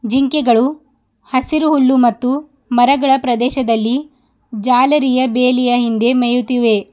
ಜಿಂಕೆಗಳು ಹಸಿರು ಹುಲ್ಲು ಮತ್ತು ಮರಗಳ ಪ್ರದೇಶದಲ್ಲಿ ಜಾಲರಿಯ ಬೇಲಿಯ ಹಿಂದೆ ಮೇಯುತಿವೆ.